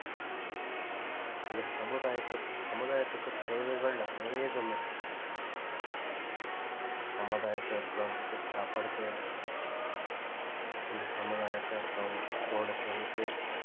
இந்த சமுதாயக்கு சமுதாயத்துக்கு தேவைகள் அநேகம் இருக்கு சமுதாயத்துல இருக்கிறவங்களுக்கு சாப்பாடு தேவை அந்த சமுதாயத்துல இருக்கிறவங்களுக்கு போட துணி தேவை